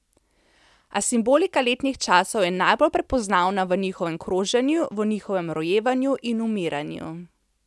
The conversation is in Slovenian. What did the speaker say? A simbolika letnih časov je najbolj prepoznavna v njihovem kroženju, v njihovem rojevanju in umiranju.